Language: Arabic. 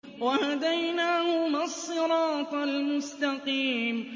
وَهَدَيْنَاهُمَا الصِّرَاطَ الْمُسْتَقِيمَ